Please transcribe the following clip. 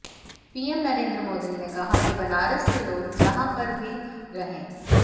PM Narendra Modi ने कहा कि बनारस के लोग जहां पर भी रहे